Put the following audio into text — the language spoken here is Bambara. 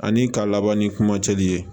Ani ka laban ni kuma cɛli ye